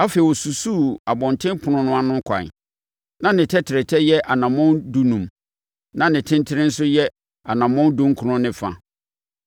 Afei ɔsusuu abɔntenpono no ano ɛkwan, na ne tɛtrɛtɛ yɛ anammɔn dunum na ne tentene mu nso yɛ anammɔn dunkron ne fa.